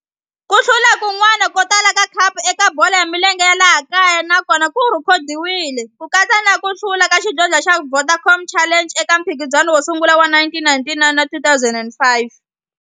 Ku hlula kun'wana ko tala ka khapu eka bolo ya milenge ya laha kaya na kona ku rhekhodiwile, ku katsa na ku hlula ka xidlodlo xa Vodacom Challenge eka mphikizano wo sungula wa 1999 na 2005.